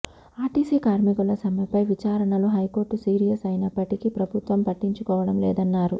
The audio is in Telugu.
ఆర్టీసీ కార్మికుల సమ్మెపై విచారణలో హైకోర్టు సీరియస్ అయినప్పటికీ ప్రభుత్వం పట్టించుకోవడం లేదన్నారు